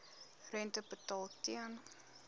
rente betaal ten